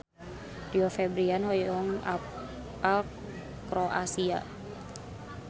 Rio Febrian hoyong apal Kroasia